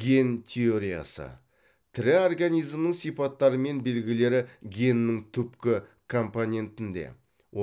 ген теориясы тірі организмнің сипаттары мен белгілері геннің түпкі компонентінде